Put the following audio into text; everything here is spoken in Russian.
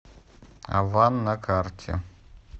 аван на карте